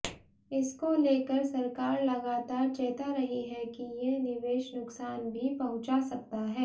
इसको लेकर सरकार लगातार चेता रही है कि ये निवेश नुकसान भी पहुंचा सकता है